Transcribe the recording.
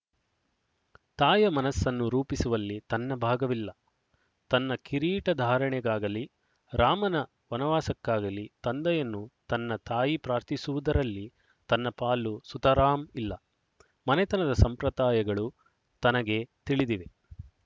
ತಾಯ ಮನಸ್ಸನ್ನು ರೂಪಿಸುವಲ್ಲಿ ತನ್ನ ಭಾಗವಿಲ್ಲ ತನ್ನ ಕಿರೀಟಧಾರಣೆಗಾಗಲಿ ರಾಮನ ವನವಾಸಕ್ಕಾಗಲಿ ತಂದೆಯನ್ನು ತನ್ನ ತಾಯಿ ಪ್ರಾರ್ಥಿಸುವುದರಲ್ಲಿ ತನ್ನ ಪಾಲು ಸುತರಾಂ ಇಲ್ಲ ಮನೆತನದ ಸಂಪ್ರದಾಯಗಳು ತನಗೆ ತಿಳಿದಿವೆ